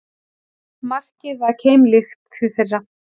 Markið var keimlíkt því fyrra